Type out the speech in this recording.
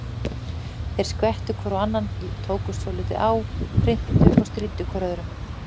Þeir skvettu hvor á annan, tókust svolítið á, hrintu og stríddu hvor öðrum.